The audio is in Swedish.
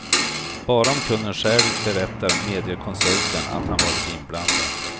Bara om kunden själv berättar medger konsulten att han varit inblandad.